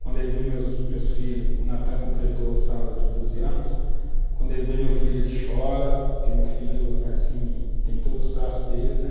Quando ele vê meus filhos, o Natan completou sábado 12 anos, quando ele vê meu filho ele chora, porque meu filho, assim, tem todos os traços deles, né?